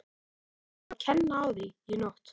Við látum þá fá að kenna á því í nótt.